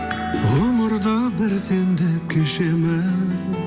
ғұмырда бір сен деп кешемін